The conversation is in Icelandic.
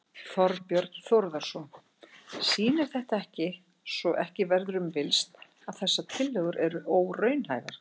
Þorbjörn Þórðarson: Sýnir þetta ekki, svo ekki verður um villst, að þessar tillögur eru óraunhæfar?